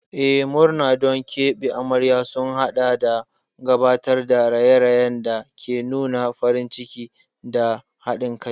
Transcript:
Eh, murna don keɓe amarya sun haɗa da gabatar da raye-rayen da ke nuna farin ciki da haɗin kai.